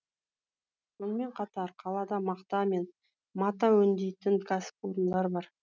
сонымен қатар қалада мақта мен мата өңдейтін кәсіпорындар бар